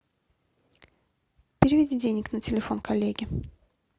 переведи денег на телефон коллеги